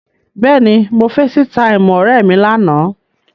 Bẹ́ẹ̀ni, mo feesitáìmù ọ̀rẹ́ mi lánàá.